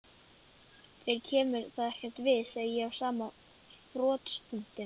Þér kemur það ekkert við, segi ég á sama frostpunkti.